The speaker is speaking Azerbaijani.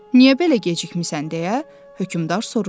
Niyə belə gecikmisən deyə hökmdar soruşdu.